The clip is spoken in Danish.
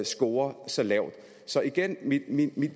scorer så lavt så igen er min